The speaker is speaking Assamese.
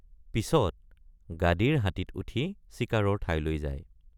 পিচত গাদীৰ হাতীত উঠি চিকাৰৰ ঠাইলৈ যায়।